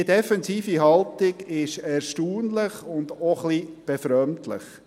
Diese defensive Haltung ist erstaunlich und auch ein wenig befremdlich.